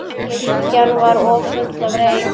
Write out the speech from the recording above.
Kirkjan var full af reyk.